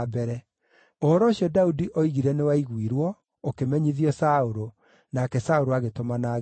Ũhoro ũcio Daudi oigire nĩwaiguirwo, ũkĩmenyithio Saũlũ, nake Saũlũ agĩtũmana ageetwo.